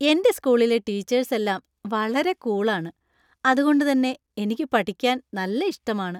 എന്‍റെ സ്കൂളിലെ ടീച്ചേര്‍സ് എല്ലാം വളരെ കൂള്‍ ആണ്, അതുകൊണ്ട് തന്നെ എനിക്ക് പഠിക്കാന്‍ നല്ല ഇഷ്ടമാണ്.